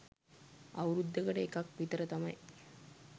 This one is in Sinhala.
අවුරුද්දකට එකක් විතර තමයි